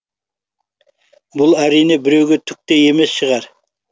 бұл әрине біреуге түк те емес шығар